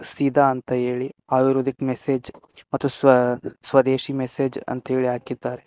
ಸೀದಾ ಅಂತ ಹೇಳಿ ಆಯುರ್ವೇದಿಕ್ ಮೆಸೇಜ್ ಮತ್ತು ಸ್ವ ಸ್ವದೇಶಿ ಮೆಸೇಜ್ ಅಂತ ಹಾಕಿದ್ದಾರೆ.